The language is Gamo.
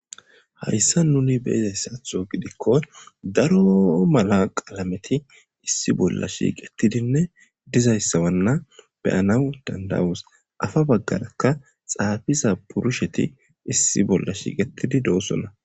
Hayssa nuni beizayssatho gidikko daro mala qalameti issi bolla shiiqettidinne dizayssawanna beyanaw dandawus afa baggarakka xaafiza purusheti issi bolla shiiqetidi doossona.